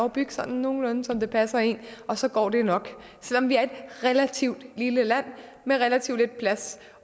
at bygge sådan nogenlunde som det passer en og så går det jo nok selv om vi er et relativt lille land med relativt lidt plads